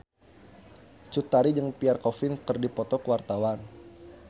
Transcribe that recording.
Cut Tari jeung Pierre Coffin keur dipoto ku wartawan